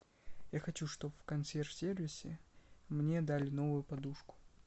я хочу чтобы в консьерж сервисе мне дали новую подушку